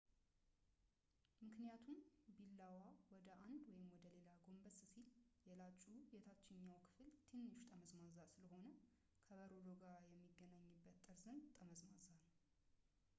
ምክንያቱም ቢላዋ ወደ አንድ ወይም ወደ ሌላ ጎንበስ ሲል ፣ የላጩ የታችኛው ክፍል ትንሽ ጠመዝማዛ ስለሆነ ፣ ከበረዶው ጋር የሚገናኝበት ጠርዝም ጠመዝማዛ ነው